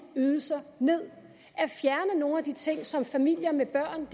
ydelser ned at fjerne nogle af de ting som familier med børn